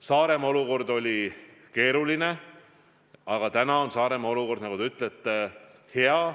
Saaremaa olukord oli keeruline, aga täna on Saaremaa olukord, nagu te ütlete, hea.